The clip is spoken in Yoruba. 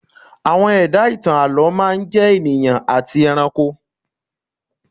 Àwọn ẹ̀dá ìtàn àlọ́ máa ń jẹ́ ènìyàn àti ẹranko